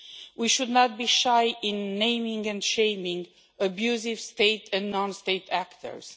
We should not be shy in naming and shaming abusive state and non state actors.